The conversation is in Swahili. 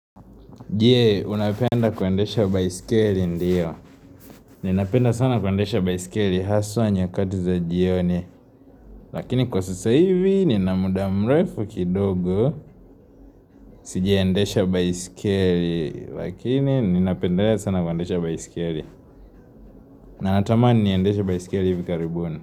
Je, unapenda kwendesha baiskeli? Ndiyo ninapenda sana kwendesha baiskeli haswa nyakati za jioni Lakini kwa sasa hivi, nina muda mrefu kidogo sija endesha baiskeli Lakini ninapendelea sana kwendesha baiskeli natamani niendeshe baiskeli hivi karibuni.